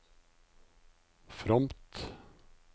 fromt